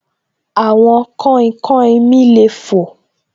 Àwọn kainkain mi le fò